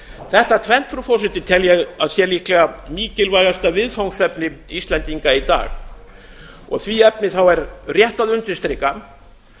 þetta tvennt frú forseti tel ég að sé líklega mikilvægasta viðfangsefni íslendinga í dag í því efni er rétt að undirstrika